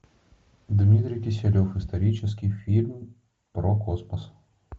дмитрий киселев исторический фильм про космос